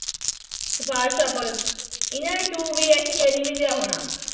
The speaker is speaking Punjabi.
ਸਿਫਾਰਸ਼ਾਂ ਇਹਨਾਂ ਨੂੰ two b s k ਨੀ ਮਿਲਿਆ ਹੋਣਾ